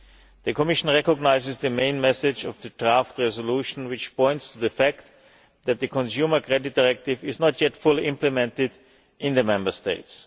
The Commission recognises the main message of the draft resolution which points to the fact that the Consumer Credit Directive is not yet fully implemented in the Member States.